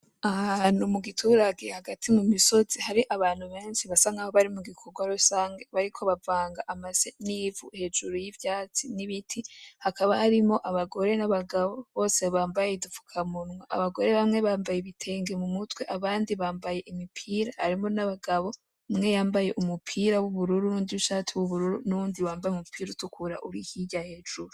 Ahantu mu giturage hagati mu misozi hari abantu benshi basa nkaho bari mu gikorwa rusange bariko bavanga amase n'ivu hejuru y'ivyatsi n'ibiti hakaba harimwo abagore n'abagabo bose bambaye udufukamunwa, abagore bamwe bambaye ibitenge mu mutwe abandi bambaye imipira harimwo n'abagabo, umwe yamabye umupira w'ubururu n'uwundi ishati y'ubururu, n'uwundi yamabaye umupira utukura uri hirya hejuru.